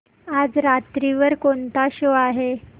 आज रात्री वर कोणता शो आहे